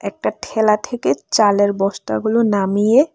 একটা ঠেলা থেকে চালের বস্তাগুলো নামিয়ে--